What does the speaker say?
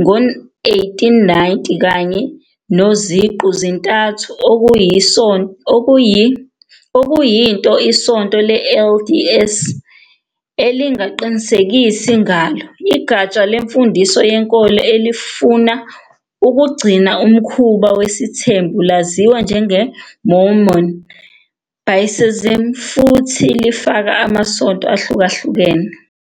ngo-1890, kanye noZiqu-zintathu, okuyinto iSonto le-LDS elingaqinisekisi ngalo. Igatsha lemfundiso yenkolo elifuna ukugcina umkhuba wesithembu laziwa njengeMormon basicism futhi lifaka amasonto ahlukahlukene.